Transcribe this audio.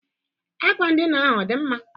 Akwa ndịna ahụ ọ dị mma?